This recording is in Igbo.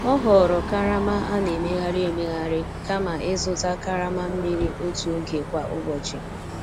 O họọrọ karama a na-emegharị emegharị kama ịzụta karama mmiri otu oge kwa ụbọchị.